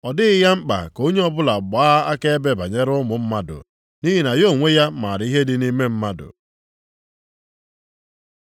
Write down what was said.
Ọ dịghị ya mkpa ka onye ọbụla gbaa akaebe banyere ụmụ mmadụ, nʼihi na ya onwe ya maara ihe dị nʼime mmadụ.